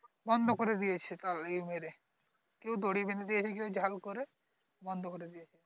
বন্ধ করে দিয়েছে সেটা মেরে কেও দড়ি বেঁধে দিয়েছে ঝারু করে বন্ধ করে দিয়েছে